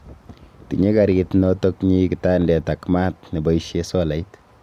Tinye karit notoknyi kitandet ak maat neboishe solait